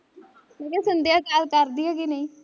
ਮੈਂ ਕਿਹਾ ਸੰਦਿਆ call ਕਰਦੀ ਐ ਕਿ ਨਹੀਂ